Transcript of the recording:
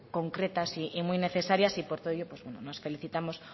concretas y muy necesarias y por todo ello nos felicitamos